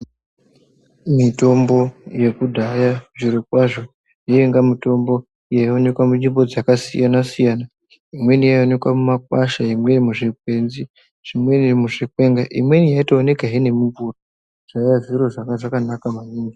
Mitombo yekudhaya zvirokwazvo yainga mitombo yaionekwa munzvimbo dzakasiyana siyana imweni yaionekwa mumakwasha imweni muzvikwenzi imweni muzvikwenga imweni yaitoonekehe nemumbuti zvaiye zviro zvakanaka maningi.